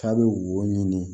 K'a bɛ wo ɲini